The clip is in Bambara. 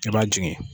I b'a jigin